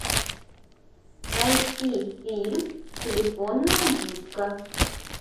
найти фильм телефонная будка